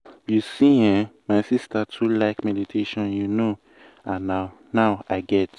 you see eh my sister too like ah meditation you know and na now i get why.